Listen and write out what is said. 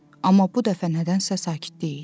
Amma bu dəfə nədənsə sakitlik idi.